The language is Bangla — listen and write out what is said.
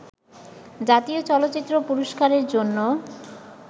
জাতীয় চলচ্চিত্র পুরস্কারের জন্য